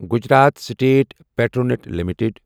Gujarat state Petronet limited